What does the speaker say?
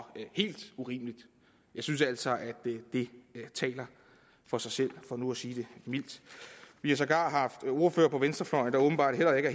helt urimeligt jeg synes altså at det taler for sig selv for nu at sige det mildt vi har sågar haft ordførere på venstrefløjen der åbenbart heller ikke